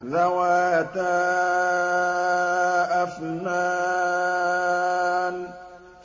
ذَوَاتَا أَفْنَانٍ